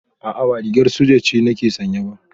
A'a ba rigar soja ce nake sanye ba